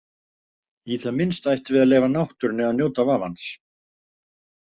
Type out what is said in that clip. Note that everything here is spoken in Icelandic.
Í það minnsta ættum við að leyfa náttúrunni að njóta vafans.